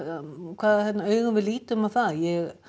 hvaða augum við lítum á það ég